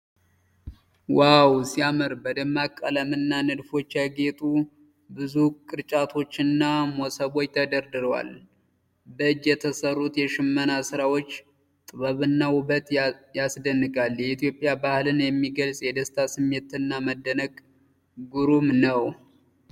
ዋው ሲያምር! በደማቅ ቀለምና ንድፎች ያጌጡ ብዙ ቅርጫቶችና መሶቦች ተደርድረዋል። በእጅ የተሰሩት የሽመና ስራዎች ጥበብና ውበት ያስደንቃል። የኢትዮጵያ ባህልን የሚገልጽ የደስታ ስሜትና መደነቅ ግሩም ነው!።